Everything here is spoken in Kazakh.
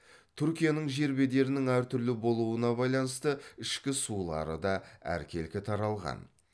түркияның жер бедерінің әр түрлі болуына байланысты ішкі сулары да әркелкі таралған